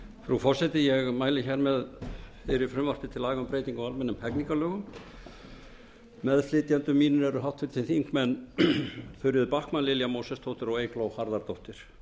frú forseti ég mæli hér með fyrir frumvarpi til laga um breyting á almennum hegningarlögum meðflytjendur mínir eru háttvirtir þingmenn þuríður backman lilja mósesdóttir og eygló harðardóttir